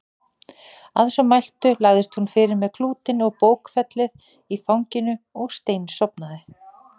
Að svo mæltu lagðist hún fyrir með klútinn og bókfellið í fanginu og steinsofnaði.